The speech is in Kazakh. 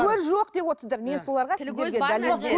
көз жоқ деп отырсыздар